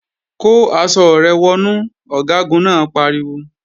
Kó aṣọ rẹ wọnú! Ọ̀gágun náà pariwo